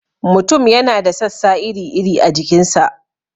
Mutum yana da sassa iri-iri a jikin sa.